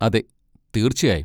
അതെ, തീർച്ചയായും!